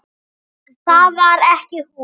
Það var ekki hún.